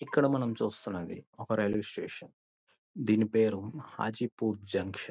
ఇక్కడ మనం చుస్తాన్నది ఒక రైల్వే స్టేషన్ . దీని పేరు ఆచిపూర్ జంక్షన్ .